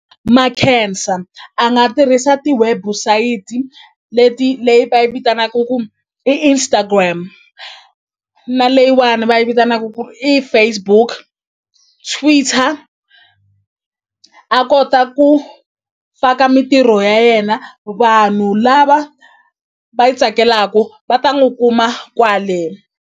Makhensa a nga tirhisa ti-website leti leyi va yi vitanaku ku i Instagram na leyiwani va yi vitanaku ku i Facebook Twitter a kota ku faka mintirho ya yena vanhu lava va yi tsakelaku va ta n'wu kuma kwale.